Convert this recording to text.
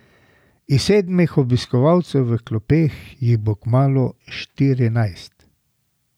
Iz sedmih obiskovalcev v klopeh jih bo kmalu štirinajst.